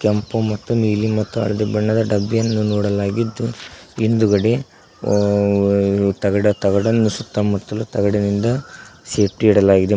ಕೆಂಪು ಮತ್ತು ನೀಲಿ ಮತ್ತು ಹಳದಿ ಬಣ್ಣದ ಡಬ್ಬಿಯನ್ನು ನೋಡಲಾಗಿದ್ದು ಹಿಂದುಗಡೆ ತಗಡನ್ನು ಸುತ್ತಮುತ್ತಲು ತಗಡಿಂದ ಸೇಫ್ಟಿ ಇಡಲಾಗಿದೆ.